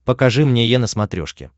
покажи мне е на смотрешке